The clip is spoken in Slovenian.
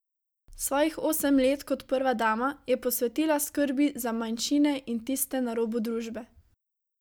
Svojih osem let kot prva dama je posvetila skrbi za manjšine in tiste na robu družbe.